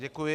Děkuji.